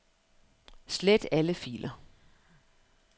Slet alle filer.